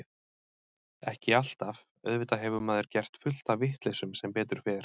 Ekki alltaf, auðvitað hefur maður gert fullt af vitleysum sem betur fer.